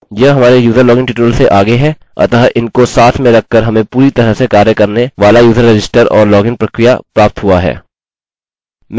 यह हमारे user login tutorial से आगे है अतः इनको साथ में रखकर हमें पूरी तरह से कार्य करने वाला यूज़र रजिस्टर और लॉगिन प्रक्रिया प्राप्त हुआ है